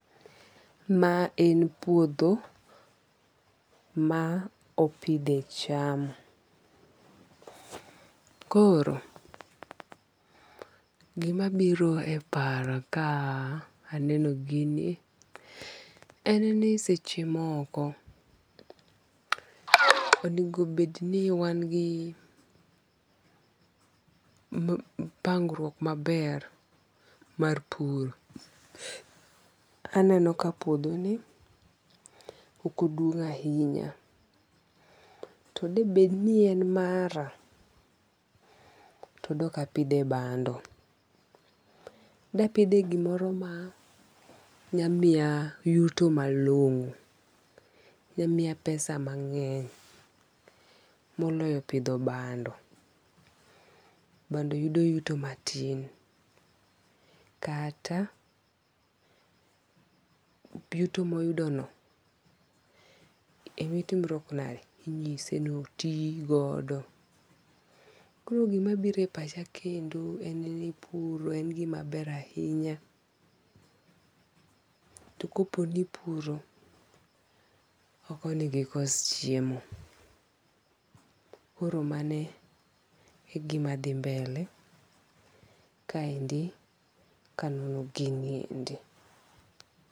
Ma en puodho ma opidhe cham. Koro, gima biro e paro ka aneno gini en ni seche moko onego bed ni wan gi pangruok maber mar pur. Aneno ka puodho ni ok oduong' ahinya to bed ni en mara to dok apidhe bando. Dapidhe gimoro ma nya miya yuto malong'o. Nya miya pesa mang'eny moloyo pidho bando. Bando yudo yuto matin. Kata yuto moyudo no, e mitimruok nade, inyise ni oti godo. Kor gima biro e pacha kendo en ni pur en gima ber ahinya. To kopo ni ipuro to ok onego ikos chiemo. Koro mane igima dhi mbele kaendi kanono giniendi.